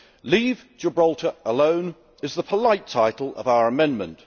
Leave Gibraltar Alone is the polite title of our amendment.